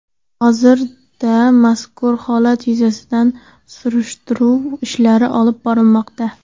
Hozirda mazkur holat yuzasidan surishtiruv ishlari olib borilmoqda.